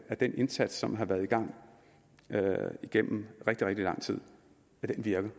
at den indsats som har været i gang igennem rigtig rigtig lang tid virker